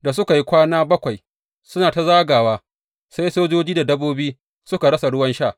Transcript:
Da suka yi kwana bakwai suna ta zagawa, sai sojoji da dabbobi suka rasa ruwan sha.